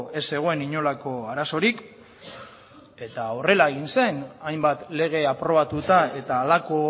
ez zegoen inolako arazorik eta horrela egin zen hainbat lege aprobatuta eta halako